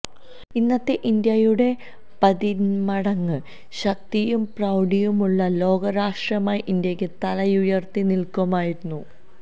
ഇന്നത്തെ ഇന്ത്യയുടെ പതിന്മടങ്ങ് ശക്തിയും പ്രൌഢിയുമുള്ള ലോക രാഷ്ട്രമായി ഇന്ത്യക്ക് തലയുയര്ത്തി നില്ക്കാമായിരുന്നു